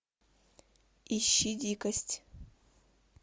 ищи дикость